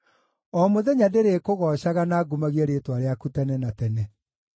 O mũthenya ndĩrĩkũgoocaga na ngumagie rĩĩtwa rĩaku tene na tene.